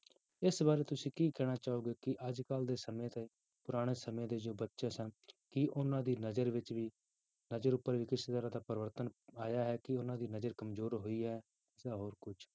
ਇਸ ਬਾਰੇ ਤੁਸੀਂ ਕੀ ਕਹਿਣਾ ਚਾਹੋਗੇ ਕਿ ਅੱਜ ਕੱਲ੍ਹ ਦੇ ਸਮੇਂ ਤੇ ਪੁਰਾਣੇ ਸਮੇਂ ਦੇ ਜੋ ਬੱਚੇ ਸਨ, ਕੀ ਉਹਨਾਂ ਦੀ ਨਜ਼ਰ ਵਿੱਚ ਵੀ ਨਜ਼ਰ ਉੱਪਰ ਵੀ ਕਿਸ ਤਰ੍ਹਾਂ ਦਾ ਪਰਿਵਰਤਨ ਆਇਆ ਹੈ ਕਿ ਉਹਨਾਂ ਦੀ ਨਜ਼ਰ ਕੰਮਜ਼ੋਰ ਹੋਈ ਹੈ ਜਾਂ ਹੋਰ ਕੁੱਝ